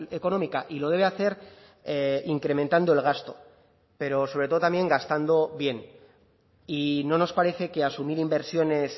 económica y lo debe hacer incrementando el gasto pero sobre todo también gastando bien y no nos parece que asumir inversiones